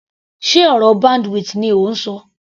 Sé ọ̀rọ̀ bandwidth ni ò ń ṣọ.